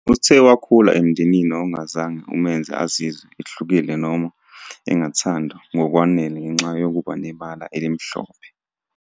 Uthe wakhula emndenini ongazange umenze azizwele ehlukile noma engathandwa ngokwanele ngenxa yokuba nebala elimhlophe.